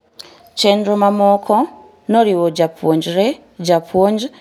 Chenro mamoko noriwo japuonjre, japuonj, ng'eyo janyuol gi ng'eyo weche aluora mar EdTech